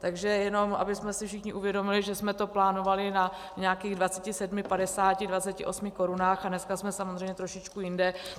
Takže jenom abychom si všichni uvědomili, že jsme to plánovali na nějakých 27,50, 28 korunách a dneska jsme samozřejmě trošičku jinde.